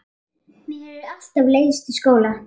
Mér hefur alltaf leiðst í skóla.